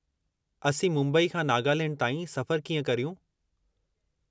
असीं मुंबई खां नागालैंड ताईं सफ़रु कीअं करियूं?